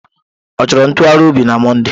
Ọ chọrọ ntụgharị obi na Mọnde